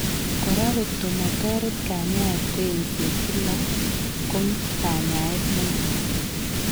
Koraa koto matoret kanyaeet ko eng'seet kila ko kanyaeet nemakaat